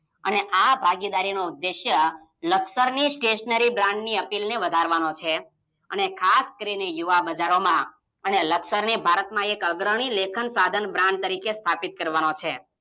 અને આ ભાગીદારીનો ઉદ્દેશય લકસરની Stationery Brands અપીલને વધારવાનો છે. અને ખાસ કરીને યુવા બજારોમાં અને લકસરની ભારતમાં એક અગ્રણી લેખન સાધન Brand તરીકે સ્થાપિત કરવાનો છે